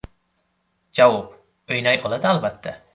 Javob: O‘ynay oladi, albatta.